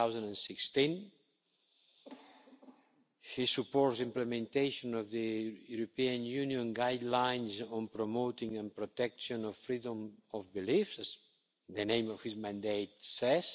2016. He supports implementation of the European Union Guidelines on promoting and protection of freedom of belief, as the name of his mandate says.